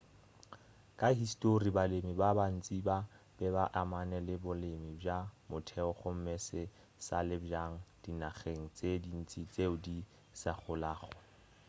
ka histori balemi ba bantši ba be ba amane le bolemi bja motheo gomme se se sa le bjale dinageng tše dintši tšeo di sa golago